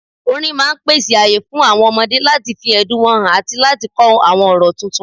Orin máà pèsè ààyè fún àwọn ọmọdé láti fi ẹ̀dùn wọn hàn àti láti kọ́ àwọn ọ̀rọ̀ tuntun.